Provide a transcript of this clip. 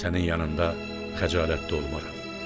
Sənin yanında xəcalətli olmaram.